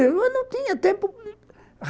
Eu não tinha tempo.